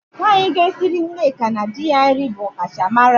Nwaanyị ga-esiri Nneka na di ya nri bụ ọkachamara.